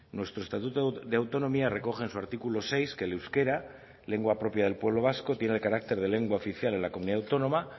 nuestro estatuto de autonomía recoge en su artículo seis que el euskera lengua propia del pueblo vasco tiene el carácter de lengua oficial en la comunidad autónoma